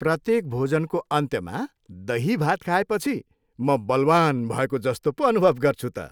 प्रत्येक भोजनको अन्त्यमा दही भात खाएपछि म बलवान् भएको जस्तो पो अनुभव गर्छु त।